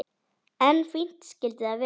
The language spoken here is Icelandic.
En fínt skyldi það vera!